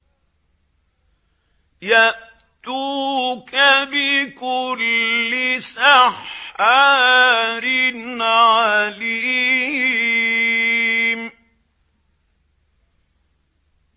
يَأْتُوكَ بِكُلِّ سَحَّارٍ عَلِيمٍ